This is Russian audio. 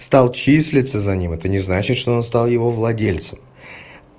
стал числиться за ним это не значит что он стал его владельцем